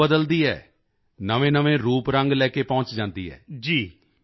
ਉਹ ਰੂਪ ਬਦਲਦੀ ਹੈ ਨਵੇਂਨਵੇਂ ਰੰਗਰੂਪ ਲੈ ਕੇ ਪਹੁੰਚ ਜਾਂਦੀ ਹੈ